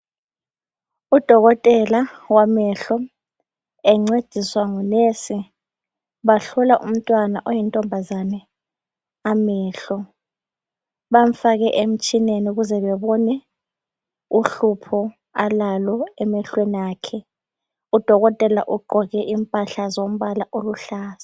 Udokotela wamehlo encediswa ngunurse bahlola umntwana oyintombazane amehlo, bamfake emtshineni ukuze bebone uhlupho alalo emehlweni akhe. Udokotela ugqoke impahla zombala oluhlaza.